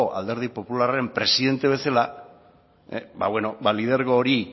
alderdi popularraren presidente bezala ba beno lidergo hori